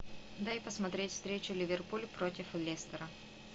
дай посмотреть встречу ливерпуль против лестера